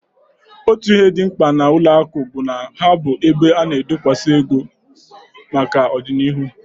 Otu ihe dị mkpa n'ụlọakụ bụ na ha bụ ebe a na-adokwuba ego maka ọdịnihu